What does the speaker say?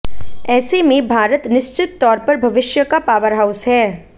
ऐसे में भारत निश्चित तौर पर भविष्य का पावरहाउस है